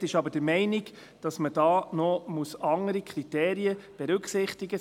Die Minderheit ist aber der Meinung, dass man hier noch andere Kriterien berücksichtigen soll.